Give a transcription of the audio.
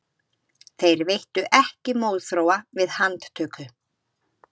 Þeir veittu ekki mótþróa við handtöku